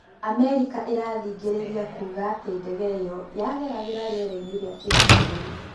Amerika ĩrathing'ĩrĩria kuga atĩ ndege ĩyo yageragĩra rĩerainĩ rĩa kĩmabũrũri.